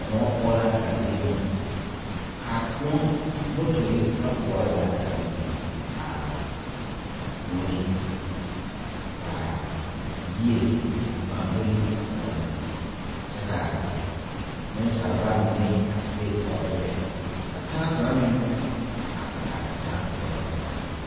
Kõɔ poɔ la a zie kaa kõɔ motorre wa pɔɔrɔ zaa a biŋ biŋ aa kõɔ zu kaa yie ngmaa golle a kõɔ kyɛ kaa neŋsalba mine a te be toore lɛ ka taŋa kaŋa meŋ a gaa te sãã toore zaa.